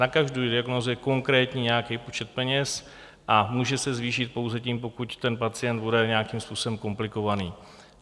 Na každou diagnózu je konkrétní nějaký počet peněz a může se zvýšit pouze tím, pokud ten pacient bude nějakým způsobem komplikovaný.